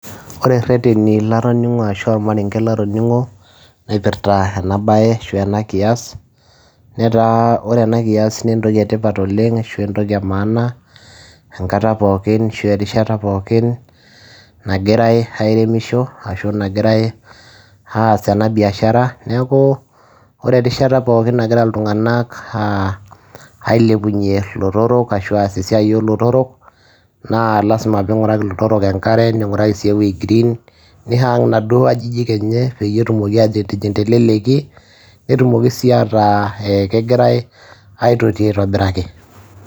Wore irereni latoningo ashua irmarenge nalotingo , naipirta enaabaye ashua enakias, netaa wore enakias naa entoki etipat oleng ashu entoki emaana enkata pookin ashu erishata pookin nagirai airemisho ashu nagirai aas enabiashara. Niaku wore erishata pookin nagira iltunganak ailepunye lootorok ashua aas esiai oolotorok naa lasima piinguraki lootorok enkare ninguraki sii eweji green nii hung sii kuna ajijik enye peyie etumoki atijing teleleki netumoki sii ataa kegirai aitoti aitobiraki.